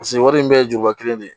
Paseke wari in bɛɛ ye juba kelen de ye